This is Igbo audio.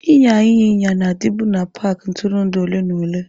Ịnya ịnyịnya na-adịbu na paaki ntụrụndụ ole na ole.